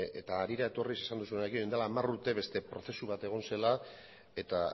eta harira etorriz esan duzunarekin duela hamar urte beste prozesu bat egon zela eta